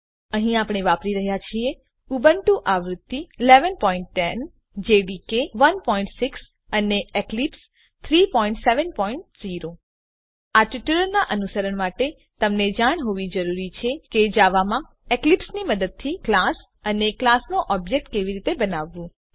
અહીં આપણે વાપરી રહ્યા છીએ ઉબુન્ટુ આવૃત્તિ ૧૧૧૦ જાવા ડેવલપમેંટ એન્વાયર્નમેંટ જેડીકે ૧૬ અને એક્લીપ્સ ૩૭૦ આ ટ્યુટોરીયલનાં અનુસરણ માટે તમને જાણ હોવી જરૂરી છે કે જાવામાં એક્લીપ્સની મદદથી ક્લાસ અને ક્લાસનો ઓબ્જેક્ટ કેવી રીતે બનાવવું